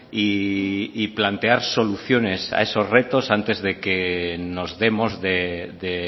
y plantear soluciones a esos retos antes de que nos demos de